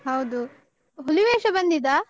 ಹೌದು ಹುಲಿವೇಷ ಬಂದಿದಾ?